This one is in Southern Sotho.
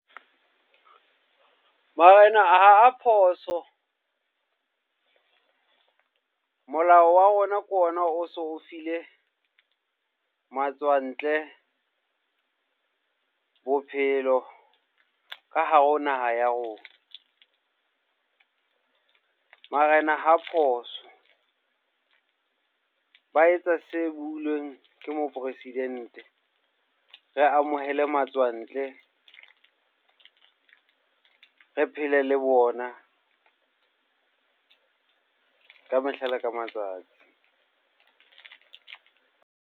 Marena ha a phoso. Molao wa rona ke ona o so o file matswantle bophelo ka hare ho naha ya rona. Marena ha phoso, ba etsa se builweng ke moporesidente. Re amohele matswantle, re phele le bona ka mehla le ka matsatsi.